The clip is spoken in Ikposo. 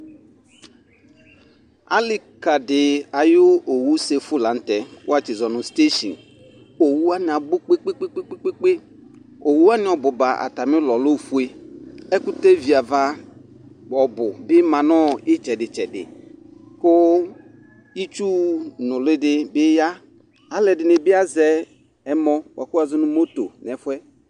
alikadi ayʋ owʋsɛƒʋ lanʋtɛ kʋwatsi ƶɔnʋ NA owʋwani abʋ kpe kpe kpee owʋwani obʋba atami ʋlɔ lɛ oƒʋe ɛkʋtɛ viava ʋbʋbima nʋitsɛdi tsɛɖi kʋ itsʋ nʋliiɖi biya alʋɛɖini bi aƶɛ ɛmɔ nɛƒʋɛ